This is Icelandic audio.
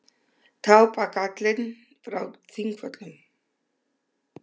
Tá-bagallinn frá Þingvöllum.